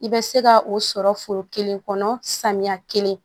I bɛ se ka o sɔrɔ foro kelen kɔnɔ samiya kelen